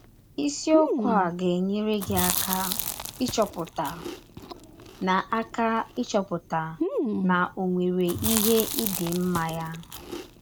Isiọkwụ a ga - enyere gị aka ịchọpụta na aka ịchọpụta na ọ nwere ihe ị dị mma ya!